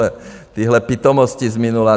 A tyhle pitomosti z minula.